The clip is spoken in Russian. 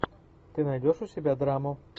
ты найдешь у себя драму